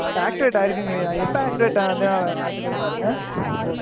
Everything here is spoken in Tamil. activate ஆயிருக்குங்கறயா? எப்ப activate ஆகுதுன்னு காட்டுதுன்னு பாருங்க.